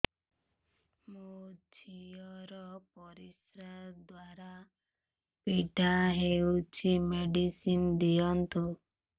ମୋ ଝିଅ ର ପରିସ୍ରା ଦ୍ଵାର ପୀଡା ହଉଚି ମେଡିସିନ ଦିଅନ୍ତୁ